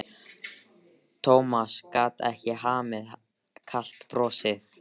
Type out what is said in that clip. Thomas gat ekki hamið kalt brosið.